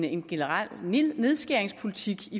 en generel nedskæringspolitik